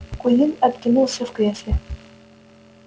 куинн откинулся в кресле